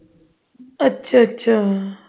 ਅੱਛਾ ਅੱਛਾ